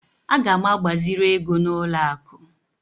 Aga m agbaziri ego n'ụlọ akụ